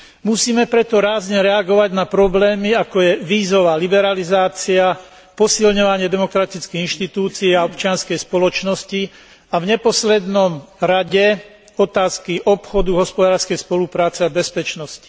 Musíme preto rázne reagovať na problémy, ako je vízová liberalizácia, posilňovanie demokratických inštitúcií a občianskej spoločnosti a v neposlednom rade otázky obchodu, hospodárskej spolupráce a bezpečnosti.